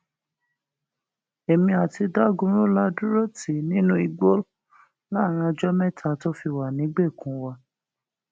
èmi àti dagunro la dúró tì í nínú igbó láàrin ọjọ mẹta tó fi wà nígbèkùn wa